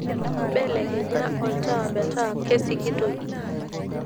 mbelekenya oltaa metaa kesikitoi